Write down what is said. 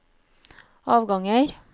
avganger